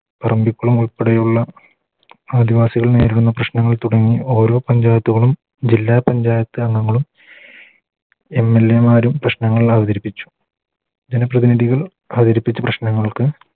പറമ്പിക്കുളം ഉൾപ്പെടെയുള്ള ആദിവാസികൾ നേരിടുന്ന പ്രശ്നങ്ങൾ തുടങ്ങി ഓരോ പഞ്ചായത്തുകളും ജില്ലാ പഞ്ചായത്ത് അംഗങ്ങളും MLA മാരും പ്രശ്നങ്ങൾ അവതരിപ്പിച്ചു ജന പ്രതിനിധികൾ അവതരിപ്പിച്ച പ്രശ്നങ്ങൾക്ക്